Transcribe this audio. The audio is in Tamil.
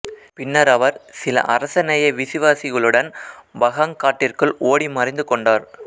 பின்னர் அவர் சில அரச நேய விசுவாசிகளுடன் பகாங் காட்டிற்குள் ஓடி மறைந்து கொண்டார்